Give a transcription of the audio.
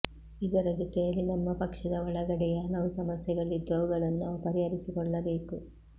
ಇದರ ಜೊತೆಯಲ್ಲಿ ನಮ್ಮ ಪಕ್ಷದ ಒಳಗಡೆಯೇ ಹಲವು ಸಮಸ್ಯೆಗಳಿದ್ದು ಅವುಗಳನ್ನು ನಾವು ಪರಿಹರಿಸಿಕೊಳ್ಳಬೇಕು